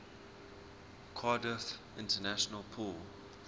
cardiff international pool